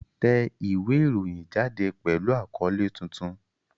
Tẹ ìwé ìròyìn jáde pẹ̀lú àkọ́lé tuntun!